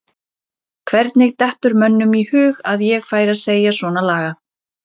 Hvernig dettur mönnum í hug að ég færi að segja svona lagað?